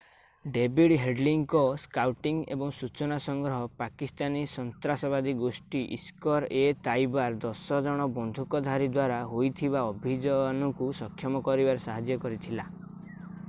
David ହେଡ୍‌ଲୀଙ୍କ scouting ଏବଂ ସୂଚନା ସଂଗ୍ରହ ପାକିସ୍ତାନୀ ସନ୍ତ୍ରାସବାଦୀ ଗୋଷ୍ଠୀ ଲସ୍କର୍-ଏ-ତାଇବାର 10ଜଣ ବନ୍ଧୁକଧାରୀଙ୍କ ଦ୍ୱାରା ହୋଇଥିବା ଅଭିଯାନକୁ ସକ୍ଷମ କରିବାରେ ସାହାଯ୍ୟ କରିଥିଲା।